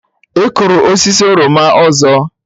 Ị kụrụ osisi oroma ọzọ?